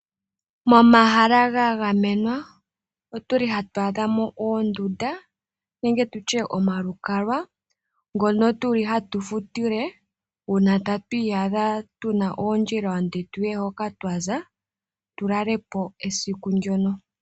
Momahala ga gamenwa otuli hatu adhamo oondunda nenge tutye omalukalwa ngono tuli hatu futile uuna tatu iyadha tuna oondjila oonde tuye hoka twaza tulale po esiku ndyono.